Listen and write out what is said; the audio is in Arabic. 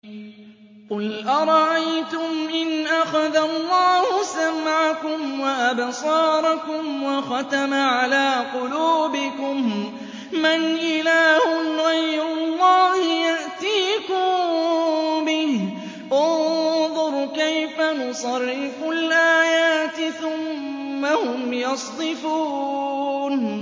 قُلْ أَرَأَيْتُمْ إِنْ أَخَذَ اللَّهُ سَمْعَكُمْ وَأَبْصَارَكُمْ وَخَتَمَ عَلَىٰ قُلُوبِكُم مَّنْ إِلَٰهٌ غَيْرُ اللَّهِ يَأْتِيكُم بِهِ ۗ انظُرْ كَيْفَ نُصَرِّفُ الْآيَاتِ ثُمَّ هُمْ يَصْدِفُونَ